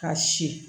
Ka si